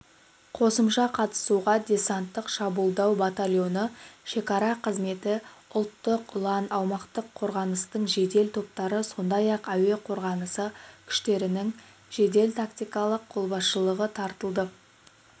қосымша қатысуға десанттық-шабуылдау батальоны шекара қызметі ұлттық ұлан аумақтық қорғаныстың жедел топтары сондай-ақ әуе қорғанысы күштерінің жедел-тактикалық қолбасшылығы тартылды